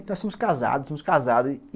Nós somos casados, somos casados.